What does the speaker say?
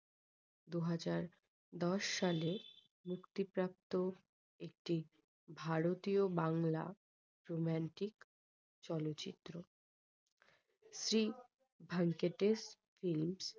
দুই হাজার দশ সালে মুক্তিপ্রাপ্ত একটি ভারতীয় বাংলা romantic চলচ্চিত্র । শ্রী ভেঙ্কটেশ flims